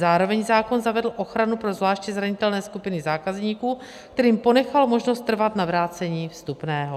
Zároveň zákon zavedl ochranu pro zvláště zranitelné skupiny zákazníků, kterým ponechal možnost trvat na vrácení vstupného.